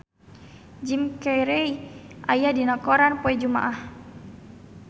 Jim Carey aya dina koran poe Jumaah